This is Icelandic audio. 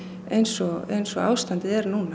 eins og eins og ástandið er núna